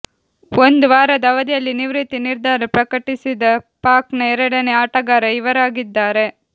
ಒಂದು ವಾರದ ಅವಧಿಯಲ್ಲಿ ನಿವೃತ್ತಿ ನಿರ್ಧಾರ ಪ್ರಕಟಿಸಿದ ಪಾಕ್ನ ಎರಡನೇ ಆಟಗಾರ ಇವರಾಗಿದ್ದಾರೆ